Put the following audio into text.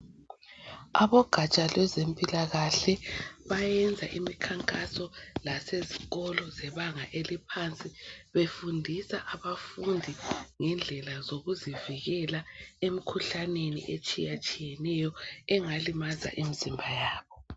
Abogatsha lwezempilakahle bayenza imikhankanso lasezikolo zebanga eliphansi befundisa abafundi ngendlela zokuzivikela emikhuhlaneni etshiyatshiyeneyo engalimaza imizimba yabo.